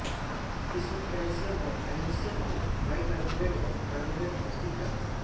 इसमें कैल्शियम व मैग्नीशियम के बाइकार्बोनेट व कार्बोनेट उपस्थित रहते हैं